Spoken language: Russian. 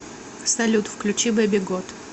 салют включи бэби гот